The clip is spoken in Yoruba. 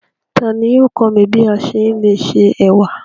Tani yóò kọ̀ mí bí à ṣé lè ṣé è̩wà?